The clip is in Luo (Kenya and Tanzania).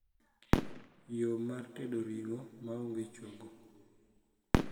yo mar tedo ringo ma onge chogo